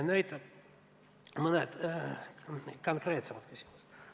Nüüd mõned konkreetsemad küsimused.